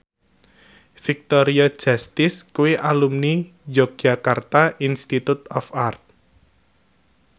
Victoria Justice kuwi alumni Yogyakarta Institute of Art